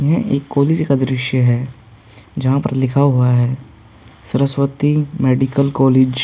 यह एक कॉलेज का दृश्य है जहां पर लिखा हुआ है सरस्वती मेडिकल कॉलेज ।